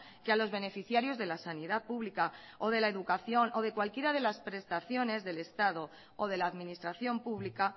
que a los beneficiarios de la sanidad pública o de la educación o de cualquiera de las prestaciones del estado o de la administración pública